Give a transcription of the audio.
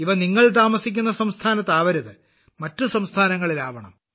ഇവ നിങ്ങൾ താമസിക്കുന്ന സംസ്ഥാനത്താവരുത് മറ്റു സംസ്ഥാനങ്ങളിലാവണം